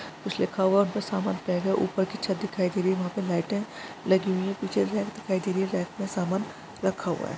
कुछ लिखा हुआ हैं और कुछ सामान पैक हैं ऊपर की छत दिखाई दे रही हैं वह पे लाइटे लगी हुई हैं कुछ रैक दिखाई दे रही हैं रैक में सामान रखा हुआ हैं।